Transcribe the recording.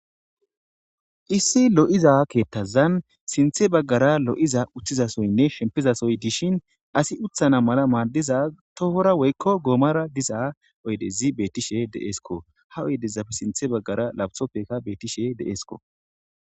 Issi lo7iza keettazan sinthe baggara lo7iza uththizasoynne shempizasoy dishin asi uthana mala maaddiza tohora woykko goomara diza oydezi bettishe deeesko ha oydezaf sinthe baggara labtopfeka beettishe deeesko.